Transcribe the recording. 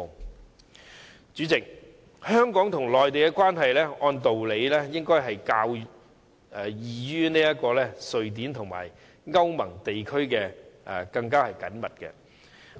代理主席，按道理，香港和內地的關係應該比瑞典與歐盟地區的更緊密，